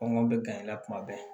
Kɔngɔ bɛ gan in na kuma bɛɛ